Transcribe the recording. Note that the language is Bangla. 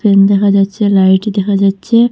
ফ্যান দেখা যাচ্ছে লাইট দেখা যাচ্ছে।